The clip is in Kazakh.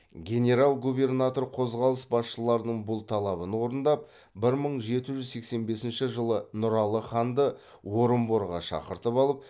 генерал губернатор қозғалыс басшыларының бұл талабын орындап бір мың жеті жүз сексен бесінші жылы нұралы ханды орынборға шақыртып алып